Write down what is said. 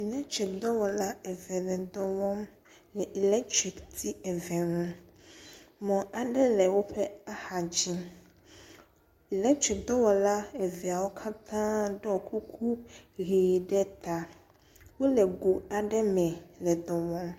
Eletriki dɔwɔla eve le dɔwɔ wɔm le elatriki le elatriki ti eve nu. Mɔ aɖe le woƒe axa dzi. Elatriki dɔwɔla eveawo katã ɖo kuku ʋe ta. Wole go aɖe me le ɖɔ wɔm